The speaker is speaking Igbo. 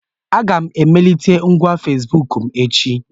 Aga m emelite ngwa Fesibuku m echi.